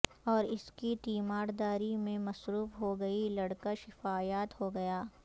اور اس کی تیمار داری میں مصروف ہوگئی لڑکا شفایاب ہوگیا